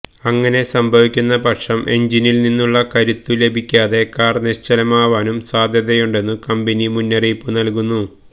ഇങ്ങനെ സംഭവിക്കുന്ന പക്ഷം എൻജിനിൽ നിന്നുള്ള കരുത്തു ലഭിക്കാതെ കാർ നിശ്ചലമാവാനും സാധ്യതയുണ്ടെന്നു കമ്പനി മുന്നറിയിപ്പ് നൽകുന്നു